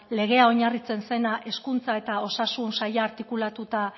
legea oinarritzen zena hezkuntza eta osasun saila artikulatutak